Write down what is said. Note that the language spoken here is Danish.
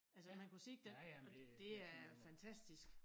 Altså at man kunne se dén og det er fantastisk